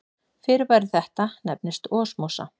Fyrirbæri þetta nefnist osmósa.